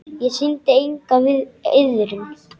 Ég sýndi enga iðrun.